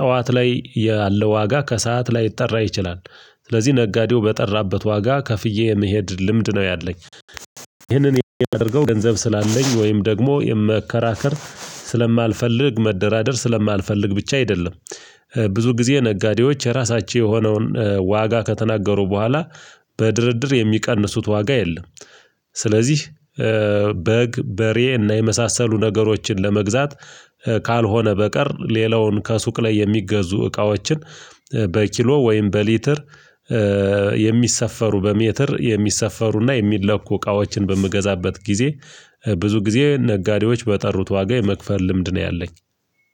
ጠዋት ላይ ያለው ዋጋ ከሰአት ላይጠራ ይችላል። ስለዚህ ነጋዴው በጠራበት ዋጋ ከፍዬ የመሄድ ልምድ ነው ያለኝ። ይህንን የማደርገው ገንዘብ ስላለኝ ወይም ደግሞ የመከራከር ስለማልፈልግ መደራደር ስለማልፈልግ ብቻ አይደለም። ብዙ ጊዜ ነጋዴዎች የራሳቸው የሆነውን ዋጋ ከተናገሩ በኋላ በድርድር የሚቀንሱት ዋጋ የለም። ስለዚህ በግ በሬ እና የመሳሰሉ ነገሮችን ለመግዛት ካልሆነ በቀር ሌላውን ከሱቅ ላይ የሚገዙ እቃዎችን በኪሎ ወይም በሊትር የሚሰፈሩ በሜትር የሚሰፈሩና የሚለኩ እቃዎችን በምገዛበት ጊዜ ብዙ ጊዜ ነጋዴዎች በጠሩት ዋጋ የመክፈል ልምድ ነው ያለኝ።